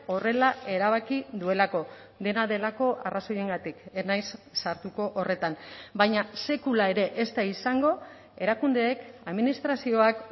horrela erabaki duelako dena delako arrazoiengatik ez naiz sartuko horretan baina sekula ere ez da izango erakundeek administrazioak